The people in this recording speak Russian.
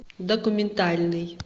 документальный